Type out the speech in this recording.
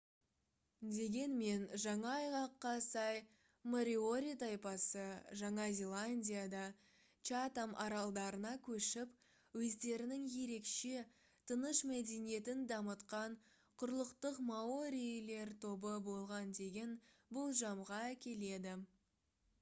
дегенмен жаңа айғаққа сай мориори тайпасы жаңа зеландиядан чатам аралдарына көшіп өздерінің ерекше тыныш мәдениетін дамытқан құрлықтық маорилер тобы болған деген болжамға әкеледі